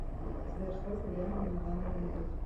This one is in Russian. сбер сколько времени на данный момент